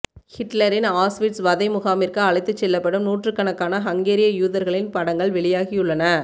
ஹிட்லரின் ஆஸ்விட்ஸ் வதைமுகாமிற்கு அழைத்துச்செல்லப்படும் நூற்றுக்கணக்கான ஹங்கேரிய யூதர்களின் படங்கள் வெளியாகியுள்ளன